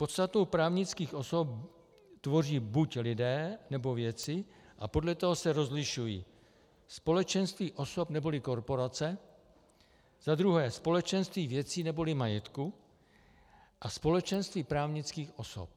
Podstatu právnických osob tvoří buď lidé, nebo věci a podle toho se rozlišují: společenství osob neboli korporace, za druhé společenství věcí neboli majetku a společenství právnických osob.